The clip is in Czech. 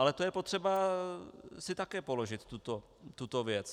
Ale to je potřeba si také položit tuto věc.